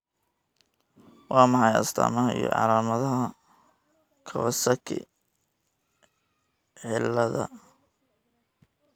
Waa maxay astamaha iyo calaamadaha Kawasaki ciladha?